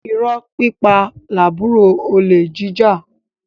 Irọ́ pípa làbúrò olè jíjà